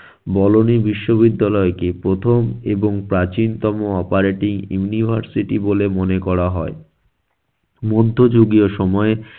বলোনি বিশ্ববিদ্যালয় কে প্রথম এবং প্রাচীনতম operating university বলে মনে করা হয়। মধ্যযুগীয় সময়ে